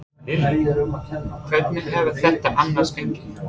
Lillý: Hvernig hefur þetta annars gengið?